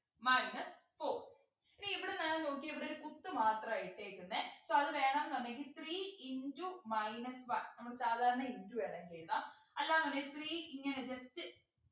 minus four ഇനി ഇവിടെ നേരെ നോക്കിയേ ഇവിടെ ഒരു കുത്ത് മാത്രാ ഇട്ടേക്കുന്നനെ so അത് വേണംന്നുണ്ടെങ്കിൽ three into minus one നമ്മള് സാധാരണ into ആണേ ചെയ്യുക അല്ലാന്നുണ്ടെങ്കിൽ three ഇങ്ങനെ just